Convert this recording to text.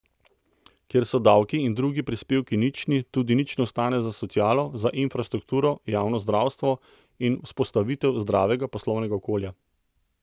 Kjer so davki in drugi prispevki nični, tudi nič ne ostane za socialo, za infrastrukturo, javno zdravstvo in vzpostavitev zdravega poslovnega okolja.